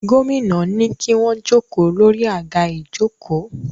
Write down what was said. Gómìnà ní kí wọ́n jókòó lórí àga ìjókòó